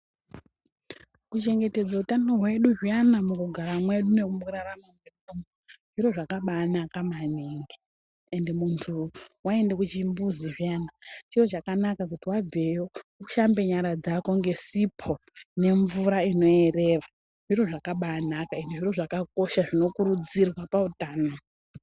Kuchengetedza utano hwedu zviyani pakugara kwedu nemukurarama zviro zvakabakaka maningi ende muntu waenda kuchimbuzi zviyana chiro chakanaka kuti ushambe nyara dzako ngesipo nemvura inoyerera. Zviro zvakabakaka ende zviro zvinokurudzirwa pautano.